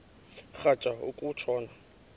rhatya uku tshona